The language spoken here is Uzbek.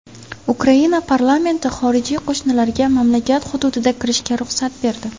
Ukraina parlamenti xorijiy qo‘shinlarga mamlakat hududiga kirishga ruxsat berdi.